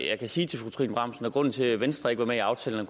jeg kan sige til fru trine bramsen at grunden til at venstre ikke var med i aftalen